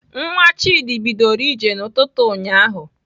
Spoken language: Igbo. Nwa Chidi bidoro ije n'ụtụtụ ụnyaahụ.